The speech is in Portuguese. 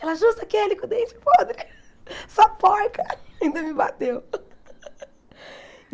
Ela, justo aquele, com o dente podre, sua porca, ainda me bateu.